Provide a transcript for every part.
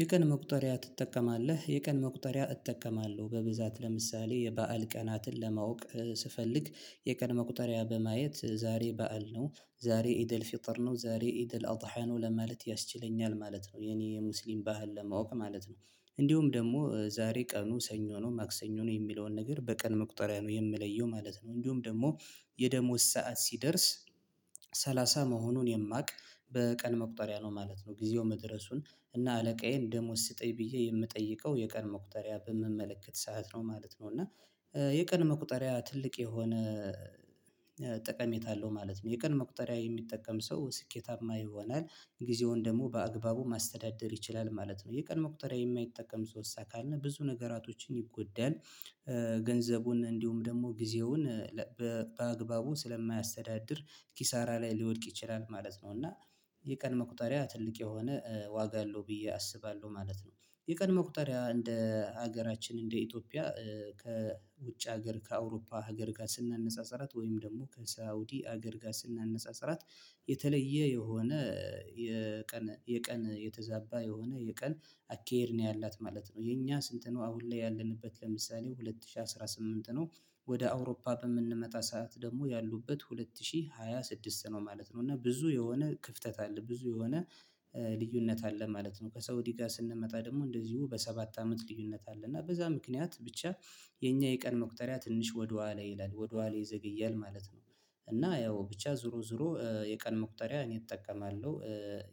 የቀን መቁጠሪያ ትጠቀማለህ የቀን መቁጠሪያ እጠቀማለሁ በብዛት ለምሳሌ የበአል ቀናትን ለማወቅ ስፈልግ የቀን መቁጠሪያ በማየት ዛሬ በዓል ነው ዛሬ ኢዲአል ፊትር ነው ዛሬ ኢደል አውጥተሃል ነው ለማለት ያስችለኛል ማለት ነው። የኔ የሙስሊም ባህል ለማወቅ ማለት ነው። እንዲሁም ደግሞ ዛሬ ቀኑ ሰኞ ነው ማክሰኞ ነው የሚለውን ነገር በቀን መቁጠሪያ ነው የምለየው ማለት ነው። እንዲሁም ደግሞ የደሞዝ ሰዓት ሲደርስ ሰላሳ መሆኑን የማውቅ በቀን መቁጠሪያ ነው ማለት ነው። ጊዜው መድረሱን እና አለቃዬን ደሞዝ ስጥኝ ብዬ የምጠይቀው የቀን መቁጠሪያ በምመለከት ሰዓት ነው ማለት ነው። እና የቀን መቁጠሪያ ትልቅ የሆነ ጠቀሜታ አለው ማለት ነው። የቀን መቁጠሪያ የሚጠቀም ሰው ስኬታማ ይሆናል ጊዜውን ደግሞ በአግባቡ ማስተዳደር ይችላል ማለት ነው። የቀን መቁጠርያ የማይጠቀም ሰውሳ ካልን ብዙ ነገራቶችን ይጎዳል ገንዘቡን እንዲሁም ደግሞ ጊዜውን በአግባቡ ስለማያስተዳድር ኪሳራ ላይ ሊወድቅ ይችላል ማለት ነው። እና የቀን መቁጠሪያ ትልቅ የሆነ ዋጋ አለው ብዬ አስባለሁ ማለት ነው። የቀን ቁጥር እንደ ሀገራችን እንደ ኢትዮጵያ ከውጭ ሀገር ከአውሮፓ ሀገር ጋር ስናነጻጽራት ወይም ደግሞ ከሳውዲ ሀገር ጋር ስናነጻጽራት የተለየ የሆነ የቀን የቀን የተዛባ የሆነ የቀን አካሄድ ነው ያላት ማለት ነው። የኛ ስንት ነው አሁን ላይ ያለንበት ለምሳሌ ሁለት ሺህ አስራ ስምንት ነው? ወደ አውሮፓ በምንመጣ ሰዓት ደግሞ ያሉበት ሁለት ሺህ ሃያ ስድስት ነው ማለት ነው። እና ብዙ የሆነ ክፍተት አለ ብዙ የሆነ ልዩነት አለ ማለት ነው። ከሳውዲ እኔ ጋር ስንመጣ ደግሞ እንደዚሁ በሰባት አመት ልዩነት አለ እና በዛ ምክንያት ብቻ የኛ የቀን መቁጠሪያ ትንሽ ወደኋላ ይላል ወደኋላ ይዘግያል ማለት ነው። እና ያው ብቻ ዞሮ ዞሮ የቀን መቁጠሪያ እኔ እጠቀማለሁ።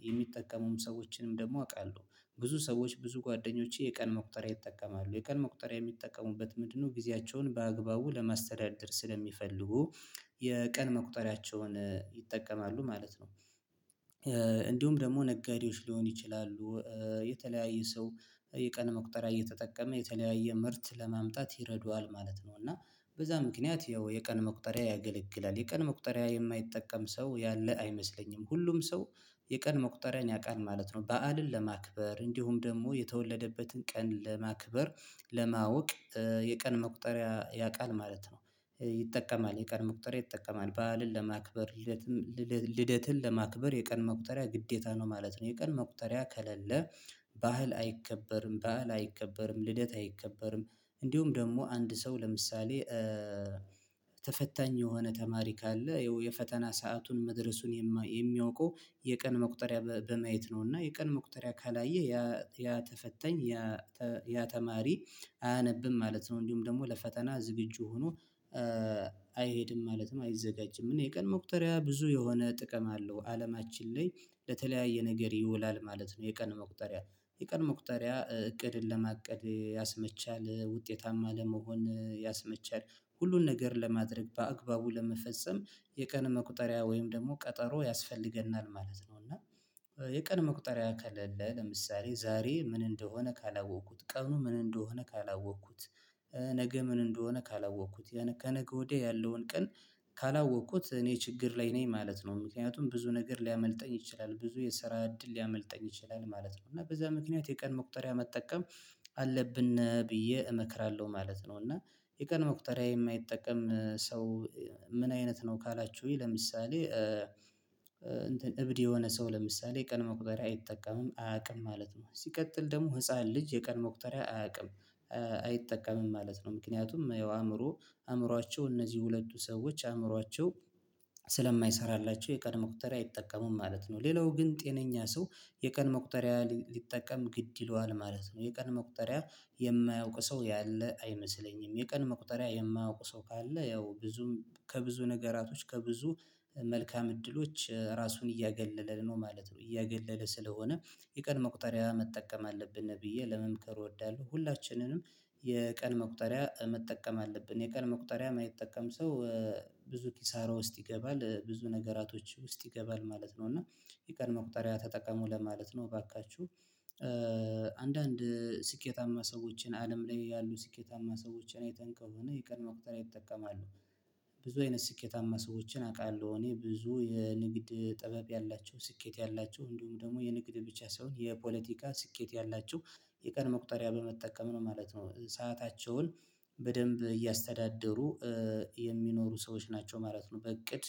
የሚጠቀሙም ሰዎችንም ደግሞ አውቃለሁ። ብዙ ሰዎች ብዙ ጓደኞቼ የቀን መቁጠሪያ ይጠቀማሉ የቀን መቁጠሪያ የሚጠቀሙበት ምንድነው ጊዜያቸውን በአግባቡ ለማስተዳደር ስለሚፈልጉ? የቀን መቁጠሪያቸውን ይጠቀማሉ ማለት ነው። እንዲሁም ደግሞ ነጋዴዎች ሊሆን ይችላሉ የተለያየ ሰው የቀን መቁጠሪያ እየተጠቀመ የተለያየ ምርት ለማምጣት ይረዱሃል ማለት ነው። እና በዛ ምክንያት ያው የቀን መቁጠሪያ ያገለግላል የቀን መቁጠሪያ የማይጠቀም ሰው ያለ አይመስለኝም ሁሉም ሰው የቀን መቁጠሪያን ያውቃል ማለት ነው። በዓልን ለማክበር እንዲሁም ደግሞ የተወለደበትን ቀን ለማክበር ለማወቅ የቀን መቁጠሪያ ያውቃል ማለት ነው። ይጠቀማል የቀን መቁጠሪያ ይጠቀማል በዓልን ለማክበር ልደትን ለማክበር የቀን መቁጠሪያ ግዴታ ነው ማለት ነው። የቀን መቁጠሪያ ከሌለ በዓል አይከበርም ባህል አይከበርም ልደት አይከበርም። እንዲሁም ደግሞ አንድ ሰው ለምሳሌ ተፈታኝ የሆነ ተማሪ ካለ የፈተና ሰአቱን መድረሱን የሚያውቀው የቀን መቁጠሪያ በማየት ነው እና የቀን መቁጠሪያ ካላየ ያ ያ ተፈተኝ ያ ያ ተማሪ አያነብም ማለት ነው። እንዲሁም ደግሞ ለፈተና ዝግጁ ሆኖ አይሄድም ማለትም አይዘጋጅም። እኔ የቀን መቁጠሪያ ብዙ የሆነ ጥቅም አለው አለማችን ላይ ለተለያየ ነገር ይውላል ማለት ነው። የቀን መቁጠሪያ የቀን መቁጠሪያ እቅድን ለማቀድ ያስመቻል ውጤታማ ለመሆን ያስመቻል ሁሉን ነገር ለማድረግ በአግባቡ ለመፈጸም የቀን መቁጠሪያ ወይም ደግሞ ቀጠሮ ያስፈልገናል ማለት ነው። እና የቀን መቁጠሪያ ከሌለ ለምሳሌ ዛሬ ምን እንደሆነ ካላወቅኩት ቀኑ ምን እንደሆነ ካላወቅኩት ነገ ምን እንደሆነ ካላወቅኩት ከነገ ወዲያ ያለውን ቀን ካላወቅኩት እኔ ችግር ላይ ነኝ ማለት ነው። ምክንያቱም ብዙ ነገር ሊያመልጠኝ ይችላል ብዙ የሰራ እድል ሊያመልጠኝ ይችላል ማለት ነው። እና በዛ ምክንያት የቀን መቁጠሪያ መጠቀም አለብን ብዬ እመክራለሁ ማለት ነው። እና የቀን መቁጠሪያ የማይጠቀም ሰው ምን አይነት ነው ካላችሁኝ ለምሳሌ እንትን እብድ የሆነ ሰው ለምሳሌ ቀን መቁጠሪያ አይጠቀምም አያውቅም ማለት ነው። ሲቀጥል ደግሞ ህፃን ልጅ የቀን መቁጠሪያ አያውቅም አይጠቀምም ማለት ነው። ምክንያቱም ያው አእምሮ አእምሯቸው እነዚህ ሁለቱ ሰዎች አእምሮአቸው ስለማይሰራላቸው የቀን መቁጠሪያ አይጠቀሙም ማለት ነው። ሌላው ግን ጤነኛ ሰው የቀን መቁጠሪያ ሊጠቀም ግድ ይለዋል ማለት ነው። የቀን መቁጠሪያ የማያውቅ ሰው ያለ አይመስለኝም። የቀን መቁጠሪያ የማያውቁ ሰው ካለ ያው ብዙም ከብዙ ነገራቶች ከብዙ መልካም እድሎች ራሱን እያገለለ ነው ማለት ነው። እያገለለ ስለሆነ የቀን መቁጠሪያ መጠቀም አለብን ብዬ ለመምከር እወዳለሁ። ሁላችንንም የቀን መቁጠሪያ መጠቀም አለብን የቀን መቁጠሪያ የማይጠቀም ሰው ብዙ ኪሳራ ውስጥ ይገባል ብዙ ነገራቶች ውስጥ ይገባል ማለት ነው። እና የቀን መቁጠሪያ ተጠቀሙ ለማለት ነው። እባካችሁ አንዳንድ ስኬታማ ሰዎችን አለም ላይ ያሉ ስኬታማ ሰዎችን አይተን ከሆነ የቀን መቁጠር ይጠቀማሉ። ብዙ አይነት ስኬታማ ሰዎችን አውቃለሁ እኔ ብዙ የንግድ ጥበብ ያላቸው ስኬት ያላቸው እንዲሁም ደግሞ የንግድ ብቻ ሳይሆን የፖለቲካ ስኬት ያላችሁ የቀን መቁጠሪያ በመጠቀም ነው ማለት ነው። ሰአታቸውን በደንብ እያስተዳደሩ የሚኖሩ ሰዎች ናቸው ማለት ነው። በእቅድ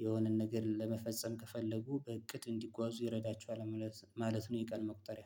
የሆነን ነገር ለመፈጸም ከፈለጉ በእቅድ እንዲጓዙ ይረዳቸዋል ማለት ማለት ነው። የቀን መቁጠሪያ